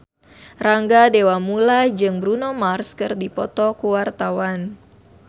Rangga Dewamoela jeung Bruno Mars keur dipoto ku wartawan